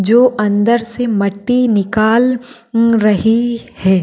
जो अंदर से मट्टी निकाल रही है।